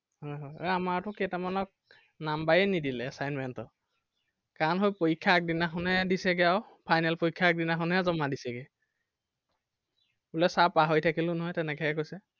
হয় হয় এৰ আমাৰটো কেইটামানক number এ নিদিলে assignment ৰ। কাৰণ সেই পৰীক্ষাৰ আগদিনাখন হে দিছেগে আৰু final পৰীক্ষাৰ আগদিনাখনহে জমা দিছেগে। বোলে sir পাহৰি থাকিলো নহয় তেনেকেহে কৈছে।